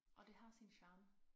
Og det har sin charme